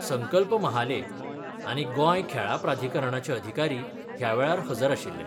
संकल्प महाले आनी गोंय खेळां प्राधिकरणाचे अधिकारी ह्या वेळार हजर आशिल्ले.